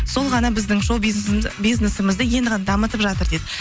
сол ғана біздің шоу бизнесімізді енді ғана дамытып жатыр дейді